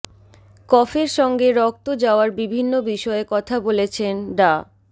কফের সঙ্গে রক্ত যাওয়ার বিভিন্ন বিষয়ে কথা বলেছেন ডা